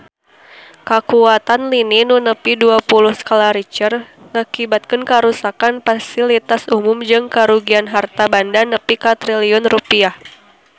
Kakuatan lini nu nepi dua puluh skala Richter ngakibatkeun karuksakan pasilitas umum jeung karugian harta banda nepi ka 5 triliun rupiah